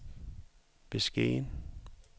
beskeden